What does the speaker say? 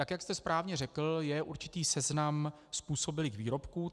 Tak jak jste správně řekl, je určitý seznam způsobilých výrobků.